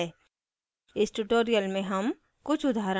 इस tutorial में हम